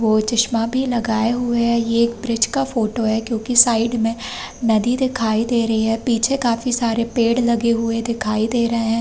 वो चस्मा भी लगाए हुए है ये एक ब्रिज का फोटो है क्युकी साइड मे नदी दिखाई दे रही है पीछे काफी सारे पेड़ लगे हुए दिखाई दे रहे है।